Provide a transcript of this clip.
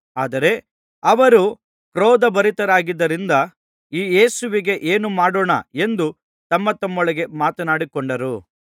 ಆದರೆ ಅವರು ಕ್ರೋಧಭರಿತರಾಗಿದ್ದರಿಂದ ಈ ಯೇಸುವಿಗೆ ಏನು ಮಾಡೋಣ ಎಂದು ತಮ್ಮತಮ್ಮೊಳಗೆ ಮಾತನಾಡಿಕೊಂಡರು